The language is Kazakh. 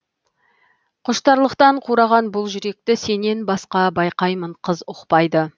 құштарлықтан қураған бұл жүректі сенен басқа байқаймын қыз ұқпайды